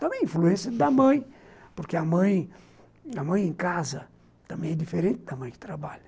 Também a influência da mãe (riso(, porque a mãe em casa também é diferente da mãe que trabalha.